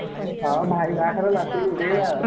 ହଁ ଭାଇ ବାହାଘର ନାଚିକି ଉଡେଇବା ଆଉ।